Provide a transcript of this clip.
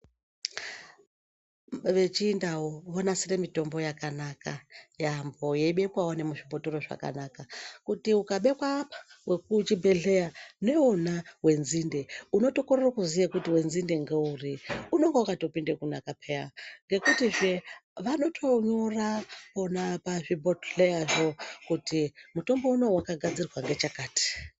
Vechindau vonasire mitombo yakanaka yaamho yeibekwawo nemuzvibhotoro zvakanaka. Kuti ukabekwa apa wekuchibhedhlera neuwona wenzinde, unotokorere kuziye kuti wenzinde ngeuri ngokuti unenge wakatopinda kunaka pheya ngekutihe vanotonyora vona pazvibhodhleyapo kuti mutombo unowu wakagadzirwa ngechakati.